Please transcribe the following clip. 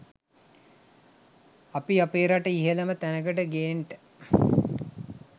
අපි අපේ රට ඉහළම තැනකට ගේන්ට